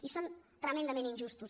i són tremendament injustos